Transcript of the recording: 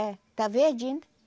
É. Está verdinho